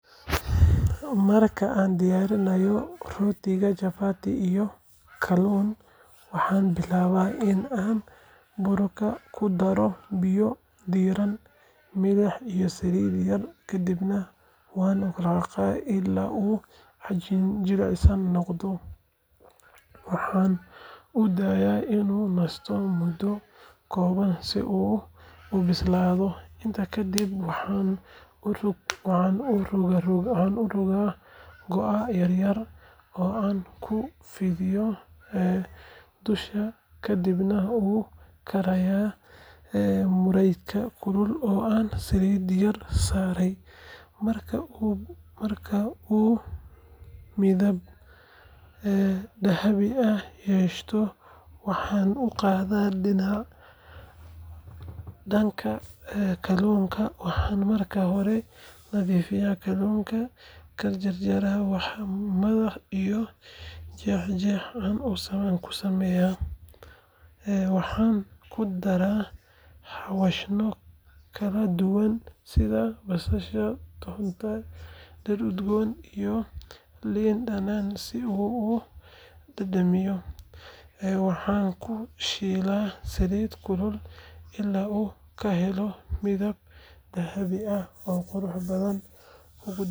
Marka aan diyaarinayo rootiga chapati iyo kalluun, waxaan billaabaa in aan burka ku daro biyo diirran, milix iyo saliid yar kadibna waan walaaqaa ilaa uu cajiin jilicsan noqdo. Waxaan u daayaa inuu nasto muddo kooban si uu u bislaado. Intaa kadib waxaan u rogaa googo' yaryar oo aan ku fidiyo dushiisa kadibna ku karayaa muraayad kulul oo aan saliid yar saaray. Marka uu midab dahabi ah yeesho, waxaan u qaataa dhinac. Dhanka kalluunka, waxaan marka hore nadiifiyaa kalluunku, ka jarayaa madax iyo jeex-jeex aan ku sameeyo. Waxaan ku darayaa xawaashyo kala duwan sida basasha, toonta, dhir udgoon iyo liin dhanaan si uu u dhadhamiyo. Waxaan ku shiilayaa saliid kulul ilaa uu ka helo midab dahabi ah oo qurux badan.